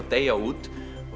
deyja út